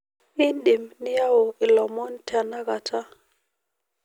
iidim niyau ilomon le tenakata